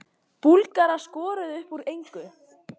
Búlgarar skoruðu upp úr engu